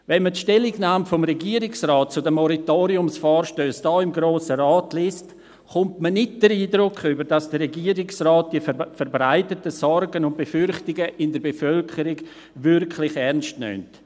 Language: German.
Wenn man die Stellungnahme des Regierungsrates zu den Moratoriumsvorstössen hier im Grossen Rat liest, erhält man nicht den Eindruck, dass der Regierungsrat die verbreiteten Sorgen und Befürchtungen in der Bevölkerung wirklich ernst nimmt.